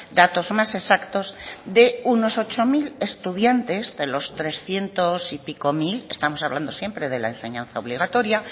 datos más exactos de unos ocho mil estudiantes de los trescientos y pico mil estamos hablando siempre de la enseñanza obligatoria